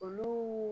Olu